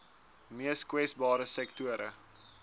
mees kwesbare sektore